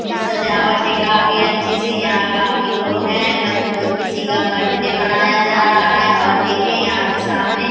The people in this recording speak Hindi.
ये सजावट है काफी अच्छी सी। यहाँ काफी लोग है। किसी का बर्थडे मनाया जाता है और देखें यहाँ पर सामने --